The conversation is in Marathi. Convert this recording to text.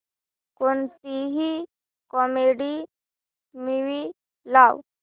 कोणतीही कॉमेडी मूवी लाव